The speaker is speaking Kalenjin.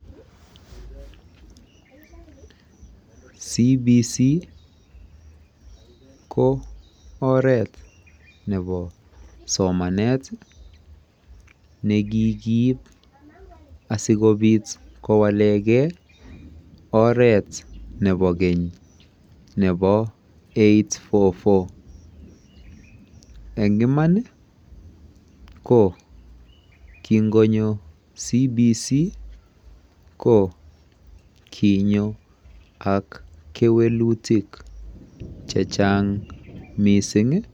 [competency based curriculum] ko oret nebo somanet ii nekikiib asikobiit kowalegei oret nebo keeny nebo [eight four four] eng imaan ii ko ki konyoo [competency based curriculum] ko kinyoo ak kewelutiik che chaang missing ii